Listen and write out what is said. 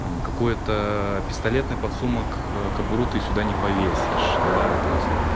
какой-то пистолетный подсумок кобуру ты сюда не повесишь да то есь